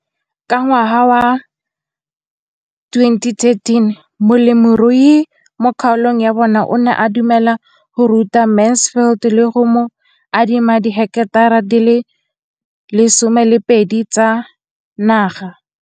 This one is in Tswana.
Ka ngwaga wa 2013, molemirui mo kgaolong ya bona o ne a dumela go ruta Mansfield le go mo adima di heketara di le 12 tsa naga.